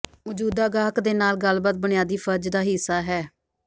ਮੌਜੂਦਾ ਗਾਹਕ ਦੇ ਨਾਲ ਗੱਲਬਾਤ ਬੁਨਿਆਦੀ ਫਰਜ਼ ਦਾ ਹਿੱਸਾ ਹੈ